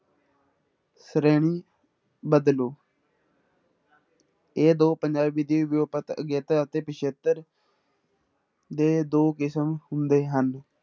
ਸ਼੍ਰੇਣੀ ਬਦਲੂ ਇਹ ਦੋ ਪੰਜਾਬੀ ਦੇ ਵਿਊਪਤ ਅਗੇਤਰ ਅਤੇ ਪਿੱਛੇਤਰ ਦੇ ਦੋ ਕਿਸਮ ਹੁੰਦੇ ਹਨ।